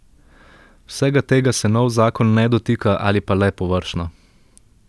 Vsega tega se nov zakon ne dotika ali pa le površno.